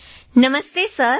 લાવણ્યા નમસ્તે સર